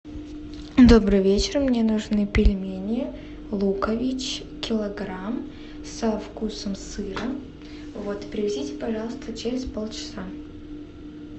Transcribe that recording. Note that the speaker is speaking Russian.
добрый вечер мне нужны пельмени лукович килограмм со вкусом сыра вот привезите пожалуйста через полчаса